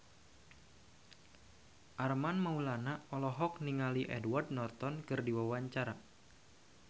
Armand Maulana olohok ningali Edward Norton keur diwawancara